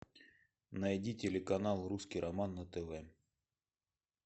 найди телеканал русский роман на тв